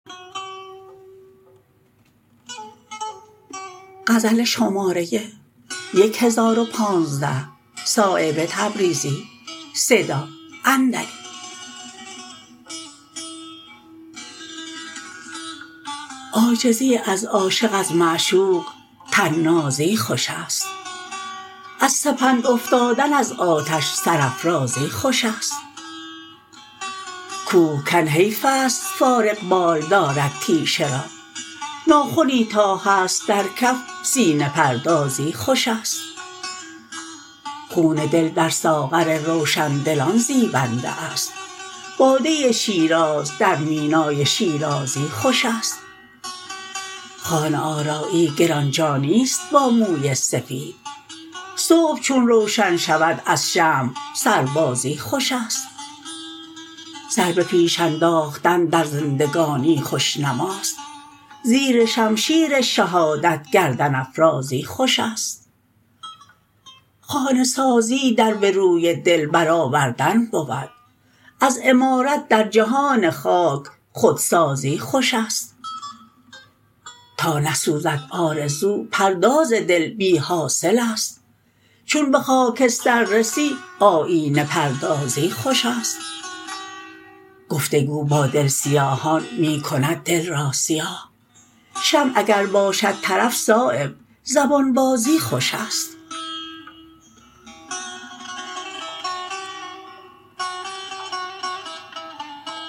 عاجزی از عاشق از معشوق طنازی خوش است از سپند افتادن از آتش سرافرازی خوش است کوهکن حیف است فارغبال دارد تیشه را ناخنی تا هست در کف سینه پردازی خوش است خون دل در ساغر روشندلان زیبنده است باده شیراز در مینای شیرازی خوش است خانه آرایی گرانجانی است با موی سفید صبح چون روشن شود از شمع سربازی خوش است سر به پیش انداختن در زندگانی خوشنماست زیر شمشیر شهادت گردن افرازی خوش است خانه سازی در به روی دل برآوردن بود از عمارت در جهان خاک خودسازی خوش است تا نسوزد آرزو پرداز دل بی حاصل است چون به خاکستر رسی آیینه پردازی خوش است گفتگو با دل سیاهان می کند دل را سیاه شمع اگر باشد طرف صایب زبان بازی خوش است